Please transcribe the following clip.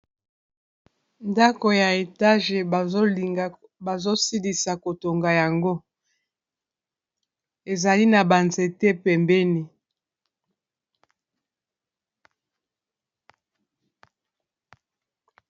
Ndako ya etage bazosilisa kotonga yango ezali na ba nzete pembeni.